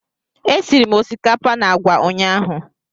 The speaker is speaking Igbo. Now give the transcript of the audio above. Esiri m osikapa na agwa ụnyahụ